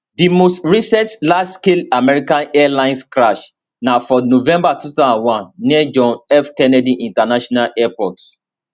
di most recent largescale american airlines crash na for november 2001 near john f kennedy international airport